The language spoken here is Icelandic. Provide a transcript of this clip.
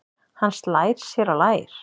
Hann slær sér á lær.